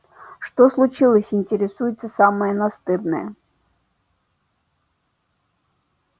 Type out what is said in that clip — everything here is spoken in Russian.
что случилось интересуется самая настырная